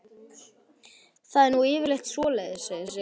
Það er nú yfirleitt svoleiðis, segir Sigrún.